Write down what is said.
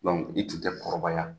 i tun tɛ kɔrɔbaya